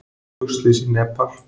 Flugslys í Nepal